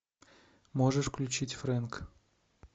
можешь включить фрэнк